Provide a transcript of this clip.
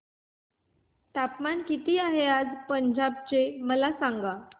तापमान किती आहे आज पंजाब चे मला सांगा